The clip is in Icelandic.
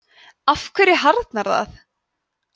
af hverju harðnar það